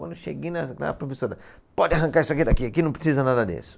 Quando eu cheguei, na, na a professora falou, pode arrancar isso aqui daqui, aqui não precisa nada disso.